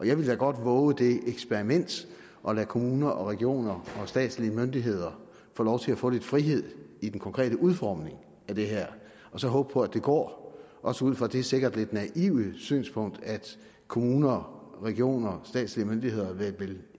jeg ville da godt vove det eksperiment at lade kommuner og regioner og statslige myndigheder få lov til at få lidt frihed i den konkrete udformning af det her og så håbe på at det går også ud fra det sikkert lidt naive synspunkt at kommuner regioner statslige myndigheder vel